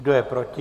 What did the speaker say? Kdo je proti?